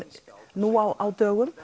nú á dögum